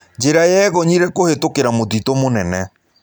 Njĩra yegonyĩre kũhĩtũkĩra mũtĩtũ mũnene.